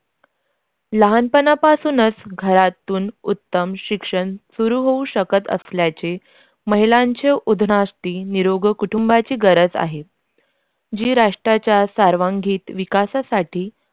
लहानपणापासूनच घरातून उत्तम शिक्षण सुरू होत होऊ शकत असल्याचे महिलांच्या उधनासाठी निरोगं कुटुंबाची गरज आहे जे देशाच्या सर्वांगीण विकासासाठी.